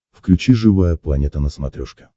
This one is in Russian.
включи живая планета на смотрешке